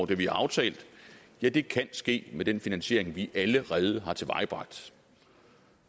det vi har aftalt ja det kan ske med den finansiering vi allerede har tilvejebragt